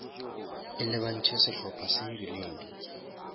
e lebantšhe sehlopa se rileng